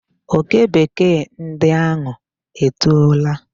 Oke Bekee ndi ahụ etoola.